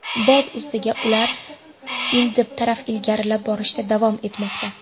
Boz ustiga, ular Idlib taraf ilgarilab borishda davom etmoqda.